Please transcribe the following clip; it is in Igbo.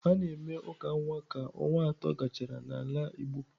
A na-eme uka nwa ka ọnwa atọ gachara n'ala igbo.